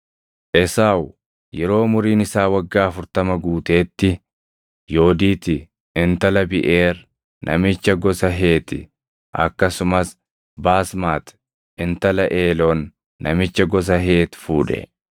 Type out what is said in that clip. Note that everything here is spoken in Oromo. Esaawu yeroo umuriin isaa waggaa afurtama guuteetti Yoodiiti intala Biʼeer namicha gosa Heeti akkasumas Baasmati intala Eeloon namicha gosa Heeti fuudhe.